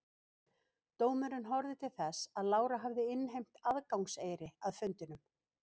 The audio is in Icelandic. Dómurinn horfði til þess að Lára hafði innheimt aðgangseyri að fundunum.